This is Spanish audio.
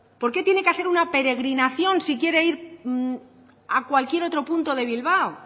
porque tiene que hacer una peregrinación si quiere ir a cualquier otro punto de bilbao